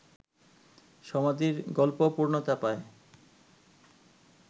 সমাধির গল্প পূর্ণতা পায়